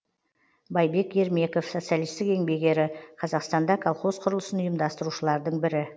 байбек ермеков социалистік еңбек ері қазақстанда колхоз құрылысын ұйымдастырушылардың бірі